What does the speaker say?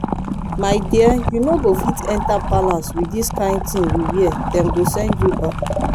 my dear you no go fit enter palace with dis kyn thing you wear dem go send you back